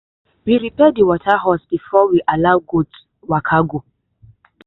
we repair the water hose before we allow goats waka go.